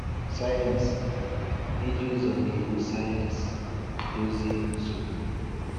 Sayensị – Ịji ụzọ na iwu sayensị dozie nsogbu.